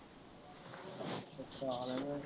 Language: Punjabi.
ਅੱਛਾ ਹਾਲੇ ਨਹੀਂ